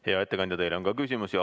Hea ettekandja, teile on ka küsimusi.